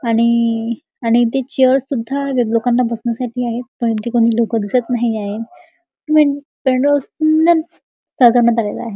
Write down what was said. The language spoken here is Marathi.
आणि इ इ आणि इथे चेयर्स सुद्धा लोकांना बसण्यासाठी आहेत परंतु इथे कोणी लोक दिसत नाही आहेत. --